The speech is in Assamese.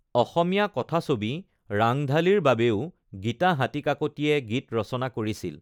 অসমীয়া কথাছবি ৰাংঢালীৰ বাবেও গীতা হাতীকাকতিয়ে গীত ৰচনা কৰিছিল।